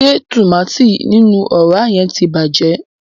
Ṣe tùmátìn ninu ọra yẹn ti bàjẹ́?